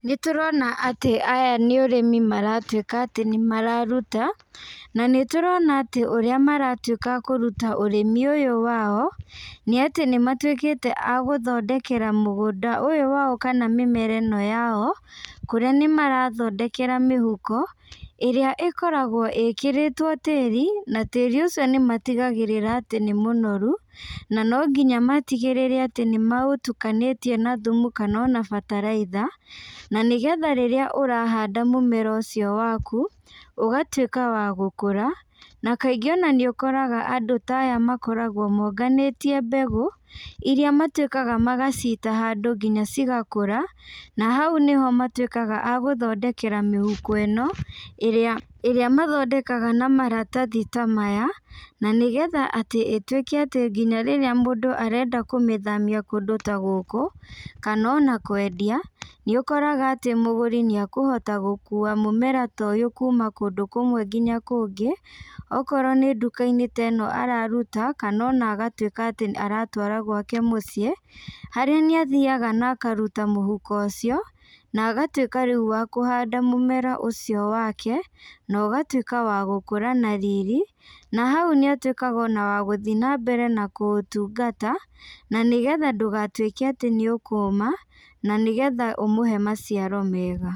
Nĩtũrona atĩ aya nĩũrĩmi maratuĩka atĩ nĩmararuta, na nĩtũrona atĩ ũrĩa maratuĩka a kũruta ũrĩmi ũyũ wao, nĩatĩ nĩmatuĩkĩte a gũthondekera mũgũnda ũyũ wao kana mĩmera ĩno yao, kũrĩa nĩmarathondekera mĩhuko, ĩrĩa ĩkoragwo ĩkĩrĩtwo tĩri, na tĩri ũcio nĩmatigagĩrĩra atĩ nĩmũnoru, na nonginya matigĩrĩre atĩ nĩmaũtukanĩtie na thumu kana ona bataraitha, na nĩgetha rĩrĩa ũrahanda mũmera ũcio waku, ũgatuĩka wa gũkũra, na kaingĩ ona nĩũkoraga andũ ta aya makoragwo monganĩtie mbegũ, iria matuĩkaga magacita handũ nginya cigakũra, na hau nĩho matuĩkaga a gũthondekera mĩhuko ĩno, ĩrĩa ĩrĩa mathondekaga na maratathi ta maya, na nĩgetha atĩ ĩtuĩke atĩ nginya rĩrĩa mũndũ arenda kũmĩthamia kũndũ ta gũkũ, kana ona kwendia, nĩũkoraga atĩ mũgũri nĩakũhota gũkua mũmera ta ũyũ kuma kũndũ kũmwe nginya kũngĩ, okorwo nĩ ndukainĩ ta ĩno araruta, kana ona agatuĩka atĩ aratwara gwake mũciĩ, harĩa nĩathiaga na akaruta mũhuko ũcio, na agatuĩka riu wa kũhanda mũmera ũcio wake, na ũgatuĩka wa gũkũra na riri, na hau nĩũtuĩkaga ona wa gũthiĩ nambere na kũutungata, na nĩgetha ndũgatuĩke atĩ nĩũkũma, na nĩgetha ũmũhe maciaro mega.